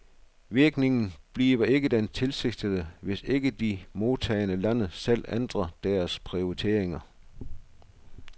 Virkningen bliver ikke den tilsigtede, hvis ikke de modtagende lande selv ændrer deres prioriteringer.